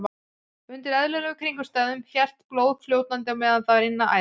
Undir eðlilegum kringumstæðum helst blóð fljótandi á meðan það er innan æða.